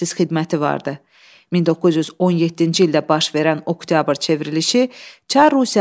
Zaqafqaziya Semmi dağılandan sonra, may ayının 28-də Azərbaycan Xalq Cümhuriyyəti elan edildi.